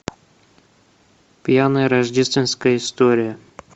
пьяная рождественская история